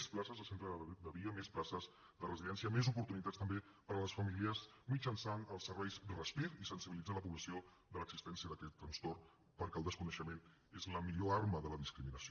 més places de centres de dia més places de residència més oportunitats també per a les famílies mitjançant els serveis respir i sensibilitzar la població de l’existència d’aquest trastorn perquè el desconeixement és la millor arma de la discriminació